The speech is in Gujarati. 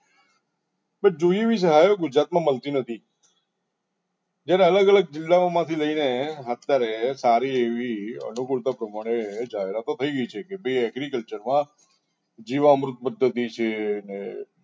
પણ જોઈએ એવી સહાયો ગુજરાતમાં મળતી નથી જ્યારે અલગ અલગ જિલ્લાઓમાંથી લઈને અત્યારે સારી એવી અનુકૂળતા પ્રમાણે જાહેરાતો થઈ ગઈ છે કે agriculture માં જીવામૃત પદ્ધતિ છે ને